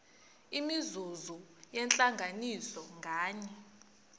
imizuzu yentlanganiso nganye